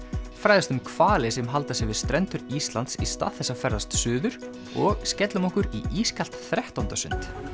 fræðumst um hvali sem halda sig við strendur Íslands í stað þess að ferðast suður og skellum okkur í ískalt þrettándasund